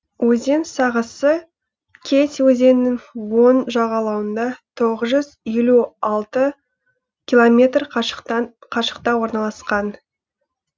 өзен сағасы кеть өзенінің оң жағалауынан тоғыз жүз елу алты километр қашықта орналасқан